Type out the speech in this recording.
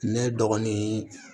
Ne dɔgɔnin